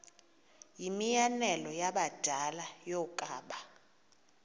yimianelo yabadala yokaba